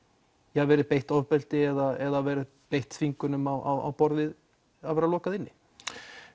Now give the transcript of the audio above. verið beitt ofbeldi eða verið beitt þvingunum á borð við að vera lokað inni